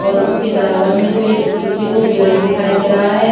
और उसके बराबर में कोई एक पीछे को पेड़ भी दिखाई दे रहा है।